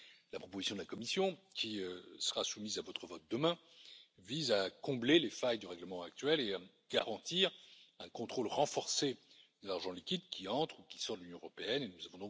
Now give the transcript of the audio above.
La proposition de la Commission qui sera soumise à votre vote demain vise à combler les failles du règlement actuel et à garantir un contrôle renforcé de l'argent liquide qui entre dans l'Union européenne ou qui en sort.